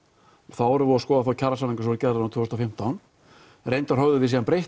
þá vorum við að skoða kjarasamninga sem voru gerðir tvö þúsund og fimmtán reyndar höfum við síðan breytt